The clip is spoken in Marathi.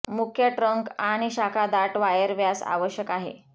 मुख्य ट्रंक आणि शाखा दाट वायर व्यास आवश्यक आहे